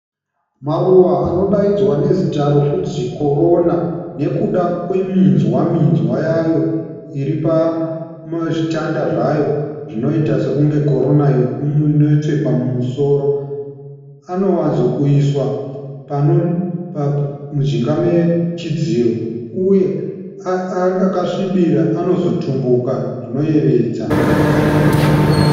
Maruva anodaidzwa nezita rokunzi Korona nekuda kweminzwa-minzwa yayo iri pazvitanda zvayo zvinoita sekunge korona inopfekwa mumusoro. Anowanzokuiswa mujinga mechidziro uye akasvibira anozotumbuka zvinoyevedza.